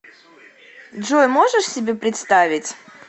джой можешь себе представить